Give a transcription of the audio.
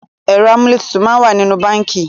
Ẹ̀rọ amúlétutù máa ń wà nínú báńkì